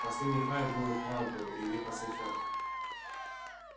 последний файл был и вправду илье посвящён